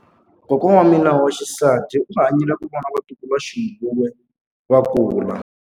Kokwa wa mina wa xisati u hanyile ku vona vatukuluxinghuwe va kula.